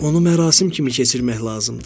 Onu mərasim kimi keçirmək lazımdır.